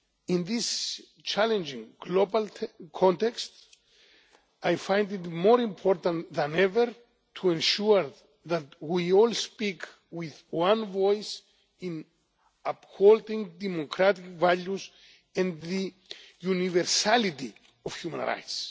In this challenging global context, I find it more important than ever to ensure that we all speak with one voice in upholding democratic values and the universality of human rights.